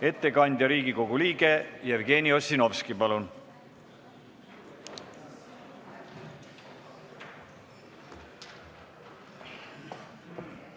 Ettekandjaks on Riigikogu liige Jevgeni Ossinovski, palun!